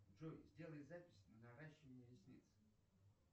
джой сделай запись на наращивание ресниц